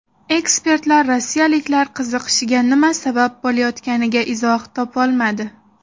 Ekspertlar rossiyaliklar qiziqishiga nima sabab bo‘layotganiga izoh topolmadi.